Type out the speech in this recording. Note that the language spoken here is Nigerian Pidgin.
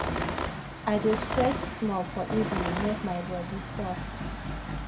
i dey stretch small for evening make my body soft.